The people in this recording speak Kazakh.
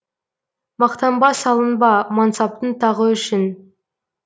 мақтанба салынба мансаптың тағы үшін